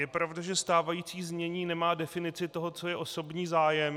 Je pravda, že stávající znění nemá definici toho, co je osobní zájem.